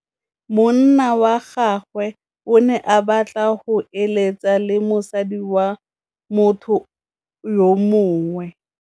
Monna wa gagwe o ne a batla go êlêtsa le mosadi wa motho yo mongwe.